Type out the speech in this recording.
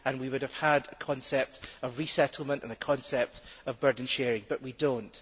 We would then have had a concept of resettlement and a concept of burden sharing, but we do not.